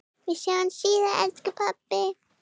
Við sjáumst síðar elsku pabbi.